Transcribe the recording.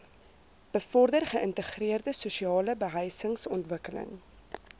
bevorder geïntegreerde sosialebehuisingsontwikkeling